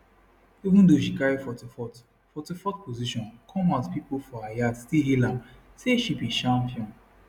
even though she carry 44th 44th position come house pipo for her yard still hail am say she be champion